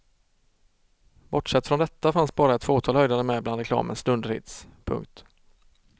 Bortsett från detta fanns bara ett fåtal höjdare med bland reklamens dunderhits. punkt